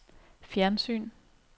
fjernsyn